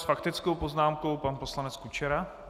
S faktickou poznámkou pan poslanec Kučera.